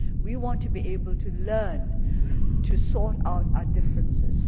We want to be able to learn to sort out our differences